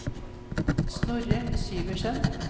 Snorre Syversen